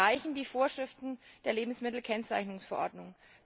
Da reichen die Vorschriften der Lebensmittelkennzeichnungsverordnung.